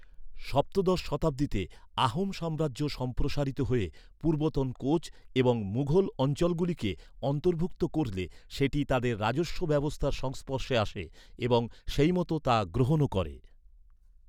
সপ্তদশ শতাব্দীতে আহোম সাম্রাজ্য সম্প্রসারিত হয়ে পূর্বতন কোচ এবং মুঘল অঞ্চলগুলিকে অন্তর্ভুক্ত করলে সেটি তাদের রাজস্ব ব্যবস্থার সংস্পর্শে আসে এবং সেই মতো তা গ্রহণও করে।